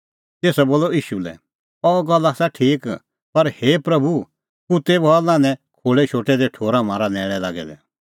तेसा बोलअ ईशू लै अह गल्ल आसा ठीक पर हे प्रभू कुत्तै बी हआ लान्हैं खोल़ै शोटै दै ठोर म्हारा न्हैल़ै लागै दै